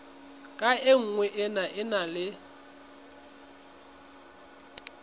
ka nngwe e na le